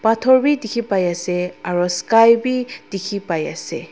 pathor dekhi pai ase aru sky bhi dekhi pai ase.